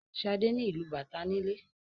Shade ni ilú bàtá nílé.